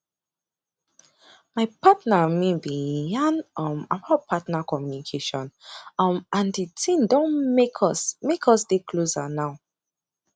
my partner and me been yan um about partner communication um and the thing don make us make us dey closer now